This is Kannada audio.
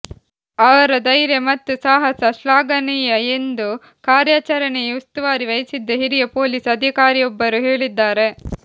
ಅವರ ಧೈರ್ಯ ಮತ್ತು ಸಾಹಸ ಶ್ಲಾಘನೀಯ ಎಂದು ಕಾರ್ಯಾಚರಣೆಯ ಉಸ್ತುವಾರಿ ವಹಿಸಿದ್ದ ಹಿರಿಯ ಪೊಲೀಸ್ ಅಧಿಕಾರಿಯೊಬ್ಬರು ಹೇಳಿದ್ದಾರೆ